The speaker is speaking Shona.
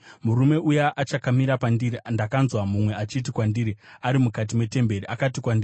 Murume uya achakamira pandiri, ndakanzwa mumwe achiti kwandiri ari mukati metemberi. Akati kwandiri,